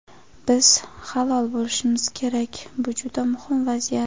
Biz halol bo‘lishimiz kerak – bu juda muhim vaziyat.